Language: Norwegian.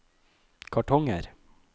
kartonger